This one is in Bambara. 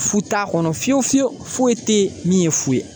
Fu t'a kɔnɔ fiyewu fiyewu foyi tɛ ye min ye fu ye